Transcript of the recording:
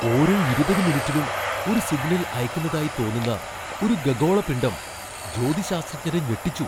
ഓരോ ഇരുപത് മിനിറ്റിലും ഒരു സിഗ്നൽ അയക്കുന്നതായി തോന്നുന്ന ഒരു ഖഗോളപിണ്ഡം ജ്യോതിശാസ്ത്രജ്ഞരെ ഞെട്ടിച്ചു.